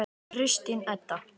Kristín Edda.